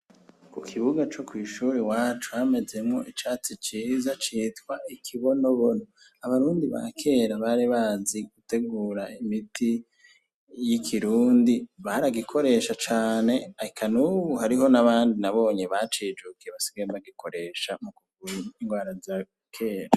Ku kibuga co kwishure iwacu hamezemwo icatsi ciza citwa ikibonobono abarundi ba kera bari bazi gutegura imiti yikirundi baragikoresha cane eka nubu hariho nabandi nabonye bacijukiye basigaye bagikoresha mu kuvura indwara za kera